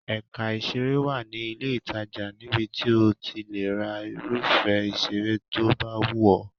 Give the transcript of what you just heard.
Ẹ̀ka ìṣeré wà ní ilé-ìtajà níbi tí o ti le ra irúfẹ́ ìṣeré tó bá wù ọ́.